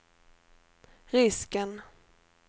risken